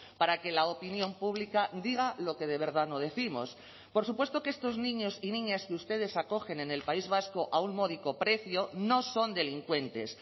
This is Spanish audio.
para que la opinión pública diga lo que de verdad no décimos por supuesto que estos niños y niñas que ustedes acogen en el país vasco a un módico precio no son delincuentes